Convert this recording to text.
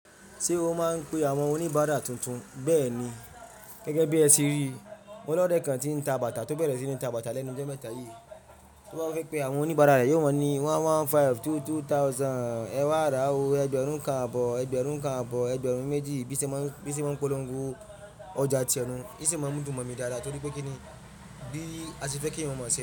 Ṣé o máa ń pe àwọn oníbàárà tuntun? Bẹ́ẹ̀ ni. Gẹ́gẹ́ bí ẹ ti rí i, mo lore kan ti ń ta bàtà tó bẹ̀rẹ̀ sí ní ta bàtà lẹ́nu ijọ́ mẹ́ta yìí. Tó bá fẹ́ pe àwọn oníbàárà rẹ̀, yóò maa ni 1500, 2000, ẹwà rá o, ẹgbẹ̀rún kan àbọ̀ọ́, ẹgbẹ̀rún kan àbọ̀ọ́, ẹgbẹ̀rún méjì. Bí se maa ń polongo ọjà tìrẹ nú, ìṣi n máa ń dùn mọ́ mi dáadáa torí pé kí ni bí a ṣe fẹ́ kí eeyan o mọ̀ se.